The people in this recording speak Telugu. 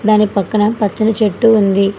దానికి పక్కన పచ్చని చెట్టు ఉంది.